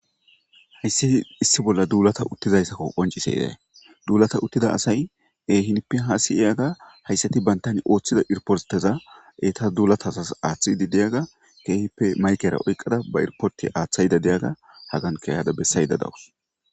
Hayssi issi bolla duulata uttizayssakko qonciseday duulata uttida asay ehinpi haasi iyaga hayssati bantani ooththida irporteza eeta duulata hasas aaththidi deyaga keehippe maykera oyqada ba irporti aaththayida deyaga hagan keyada bessayda dawus.